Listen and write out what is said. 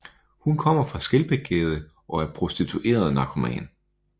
Hun kommer fra Skelbækgade og er prostitueret narkoman